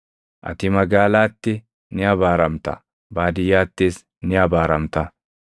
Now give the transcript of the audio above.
Ati magaalaatti ni abaaramta; baadiyyaattis ni abaaramta.